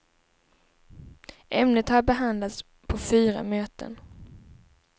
Ämnet har behandlats på fyra möten.